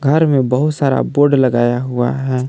घर में बहुत सारा बोर्ड लगाया हुआ है।